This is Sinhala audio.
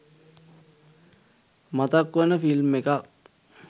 මතක් වෙන ෆිල්ම් එකක්